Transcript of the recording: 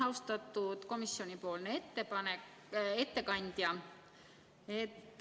Austatud komisjoni ettekandja!